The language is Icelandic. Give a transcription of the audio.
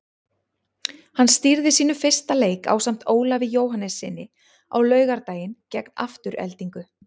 Hann stýrði sínum fyrsta leik ásamt Ólafi Jóhannessyni á laugardaginn gegn Aftureldingu.